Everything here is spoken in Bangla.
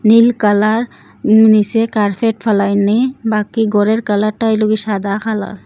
নীল কালার উম নীসে কার্ফেট ফেলাইনি বাকি ঘরের কালারটা হইল গি সাদা কালার ।